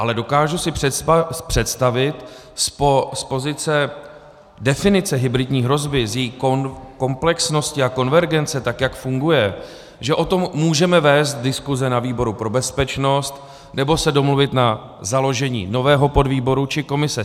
Ale dokážu si představit z pozice definice hybridní hrozby, z její komplexnosti a konvergence, tak jak funguje, že o tom můžeme vést diskuse na výboru pro bezpečnost nebo se domluvit na založení nového podvýboru či komise.